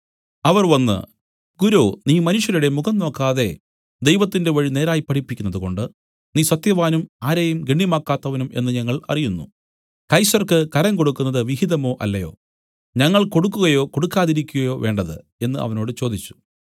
അവർ വന്നു ഗുരോ നീ മനുഷ്യരുടെ മുഖം നോക്കാതെ ദൈവത്തിന്റെ വഴി നേരായി പഠിപ്പിക്കുന്നതുകൊണ്ട് നീ സത്യവാനും ആരെയും ഗണ്യമാക്കാത്തവനും എന്നു ഞങ്ങൾ അറിയുന്നു കൈസർക്ക് കരം കൊടുക്കുന്നത് വിഹിതമോ അല്ലയോ ഞങ്ങൾ കൊടുക്കുകയോ കൊടുക്കാതിരിക്കയോ വേണ്ടത് എന്നു അവനോട് ചോദിച്ചു